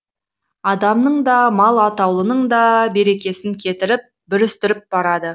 адамның да мал атаулының да берекесін кетіріп бүрістіріп барады